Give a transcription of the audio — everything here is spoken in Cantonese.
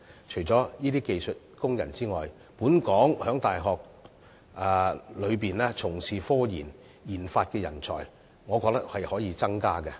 除了這些技術工人之外，本港在大學內從事科研和研發的人才，我認為可以增加。